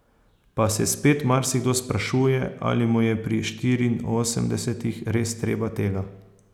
Pa se spet marsikdo sprašuje, ali mu je pri štiriinosemdesetih res treba tega.